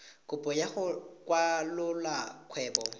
kopo ya go kwalolola kgwebo